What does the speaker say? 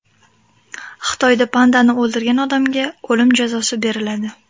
Xitoyda pandani o‘ldirgan odamga o‘lim jazosi beriladi.